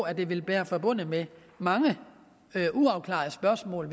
at det vil være forbundet med mange uafklarede spørgsmål